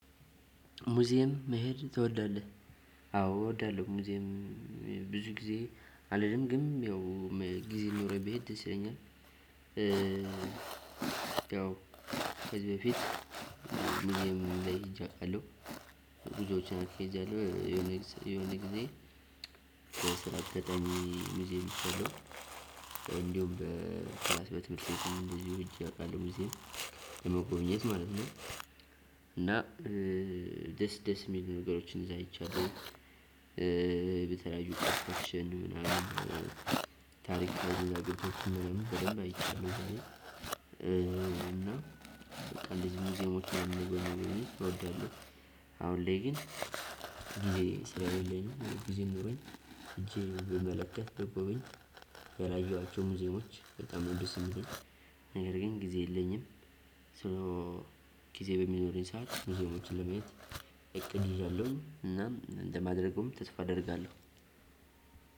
ሙዚየም መሄድ ትወዳለህ? አዎ እወዳለሁ ሙዚየም ብዙ ጊዜ አልልም ግን ያው ጊዜ ሊኖረኝ ብሄድ ደስ ይለኛል። ሲለኝ ያው ከዚህ በፊት ምንም ላይ ሄጄ አውቃለሁ። ጉዞዎችን አትሌዝያለሁ የሆነ የሆነ ጊዜ ስራ ገጠሚ ሙዚም ይሆናል። እንዲሁም በሃያ ስድስት መቶ ቤት እንደዚሁ ሂጄ አውቃለሁ ጊዜ የመጎብኘት ማለት ነው። እና ደስ ደስ የሚሉ ነገሮችን እዛ አይቻለሁ አይቻለሁ በተለያዩ ቀርቦሽ ምናምን አገኘሁት ምናምን በደንብ አይቻልም። እና በቃ እንደዚህ ሙዚየሞች አሉ እወዳለሁ። አሁን ላይ ግን ጊዜ ስለሌለኝ ጊዜ ኖሮኝ እጄ ብመለከት ደግሞ ያላየኋቸው ሙዚየሞች በጣም የሚደስቱኝ። ነገር ግን ጊዜ የለኝም። ስለ ጊዜ በሚኖረኝ ሰዓት ሙዚቃ ሙዚቃ ለመየት ይዣለሁ እና እንደማድረጉም ተስፋ አደርጋለሁ።